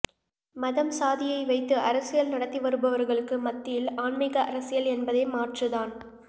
மதம் சாதியை வைத்து அரசியல் நடத்தி வருபவர்களுக்கு மத்தியில் ஆன்மிக அரசியல் என்பதே மாற்று தான்